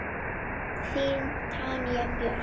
Þín, Tanja Björk.